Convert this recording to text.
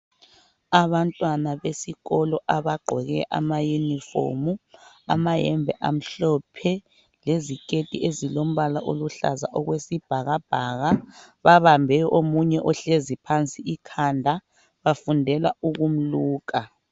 Abantwana besikolo abagqoke amayunifomu, amayembe amhlophe leziketi ezilombala oluhlaza okwesibhakabhaka babambe omunye ohlezi phansi ikhanda bafundela ukumluka.